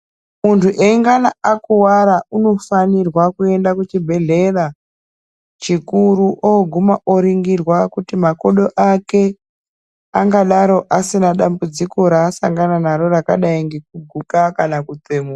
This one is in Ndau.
Muntu eingana akuvara unofanirwa kuenda kuchibhedhlera. Chikuru oguma oringirwa kuti makodo ake angadaro asina dambudziko rasangana naro rakadai ngekuguka kana kutsemuka.